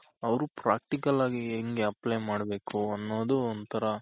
ಅವ್ರು Practical ಆಗಿ ಹೆಂಗ್ Apply ಮಾಡ್ಬೇಕು ಅನ್ನೋದು ಒಂಥರ